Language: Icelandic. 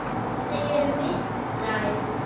Þau eru mislæg.